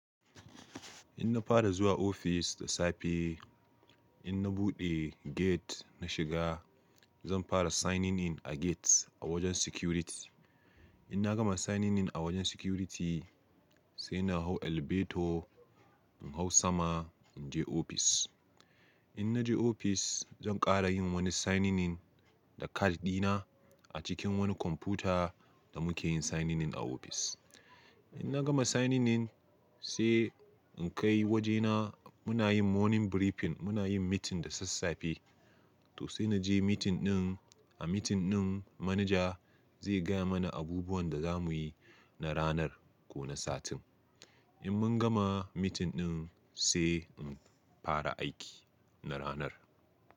In na fara zuwa ofis da safe, in na buɗe gate na shiga, zan fara signing in a gate a wajen security. In na gama signing in a wajen security, sai na hau elevator, in hau sama, in je ofis. In na je ofis, zan ƙara yin wani signing in da card dina a cikin wani kwamfuta da muke yin signing in a ofis. In na gama signing in, sai in kai wajena muna yin morning briefing, muna yin meeting da sassafe. To sai na je meeting ɗin. A meeting ɗin, manaja zai gaya mana abubuwan da za mu yi na ranar ko na satin. In mun gama meeting ɗin, sai in fara aiki na ranar.